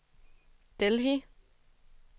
Delhi